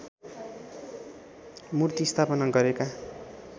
मूर्ति स्थापना गरेका